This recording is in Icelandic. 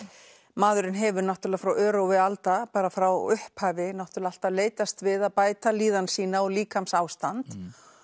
maðurinn hefur náttúrulega frá örófi alda bara frá upphafi náttúrulega alltaf leitast við að bæta líðan sína og líkamsástand